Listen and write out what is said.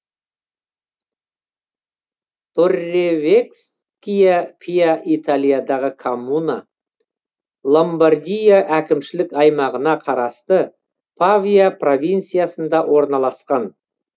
торревеккия пиа италиядағы коммуна ломбардия әкімшілік аймағына қарасты павия провинциясында орналасқан